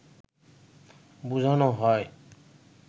বুঝানো হয়